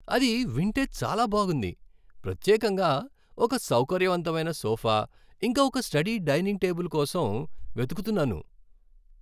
అది వింటే చాలా బాగుంది! ప్రత్యేకంగా ఒక సౌకర్యవంతమైన సోఫా, ఇంకా ఒక స్టడీ డైనింగ్ టేబుల్ కోసం వెతుకుతున్నాను.